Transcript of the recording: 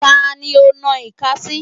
Ta ni ò ń nan ìka sí?